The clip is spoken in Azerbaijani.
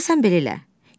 Onda sən belə elə.